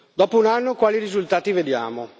Dopo un anno, quali risultati vediamo?